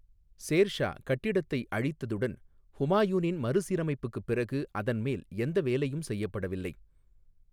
சேர் ஷா கட்டிடத்தை அழித்ததுடன் ஹுமாயூனின் மறுசீரமைப்புக்குப் பிறகு அதன் மேல் எந்த வேலையும் செய்யப்படவில்லை.